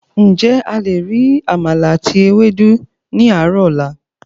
Ǹjẹ́ a le ri àmàlà àti Ewédú ní àárò ọ̀la?